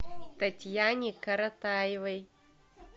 татьяне коротаевой